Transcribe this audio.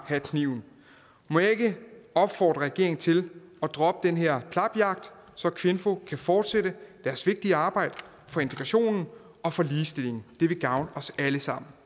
have kniven må jeg ikke opfordre regeringen til at droppe den her klapjagt så kvinfo kan fortsætte deres vigtige arbejde for integrationen og for ligestilling det vil gavne os alle sammen